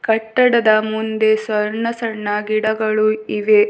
ಕಟ್ಟಡದ ಮುಂದೆ ಸಣ್ಣ ಸಣ್ಣ ಗಿಡಗಳು ಇವೆ.